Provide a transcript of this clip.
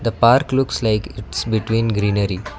the park looks like it's preprime greenery.